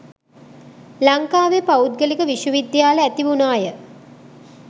ලංකාවේ පෞද්ගලික විශ්ව විද්‍යාල ඇති වුණාය